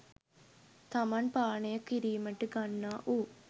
තමන් පානය කිරීමට ගන්නා වූ